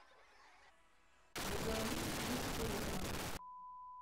газовик плюс фото